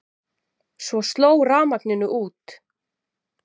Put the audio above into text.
Og svo sló rafmagninu út.